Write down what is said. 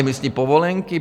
Emisní povolenky?